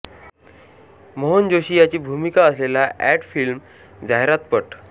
मोहन जोशी याची भूमिका असलेल्या एड फिल्म्स जाहिरातपट